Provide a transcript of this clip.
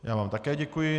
Já vám také děkuji.